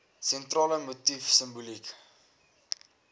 sentrale motief simboliek